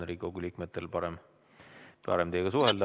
Riigikogu liikmetel on parem teiega suhelda.